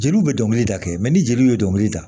Jeliw bɛ dɔnkili da kɛ ni jeliw ye dɔnkili da